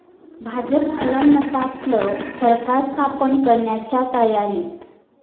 भाजप अल्पमतातलं सरकार स्थापन करण्याच्या तयारीत?